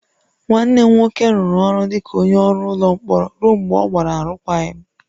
Nwanne m nwoke rụrụ ọrụ dị ka onye ọrụ ụlọ mkpọrọ ruo mgbe ọ gbara arụkwaghịm